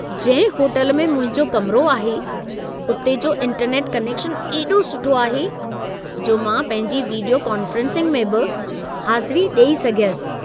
जंहिं होटल में मुंहिंजो कमिरो आहे, उते जो इंटरनेट कनेक्शन एॾो सुठो आहे, जो मां पंहिंजी विडीयो कोन्फ्रेंसिंग में बि हाज़िरी ॾेई सघियसि।